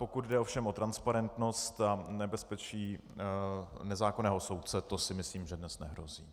Pokud jde ovšem o transparentnost a nebezpečí nezákonného soudce, to si myslím, že dnes nehrozí.